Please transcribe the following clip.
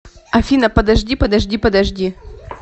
афина подожди подожди подожди